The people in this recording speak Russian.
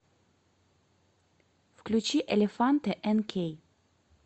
включи элефанте энкей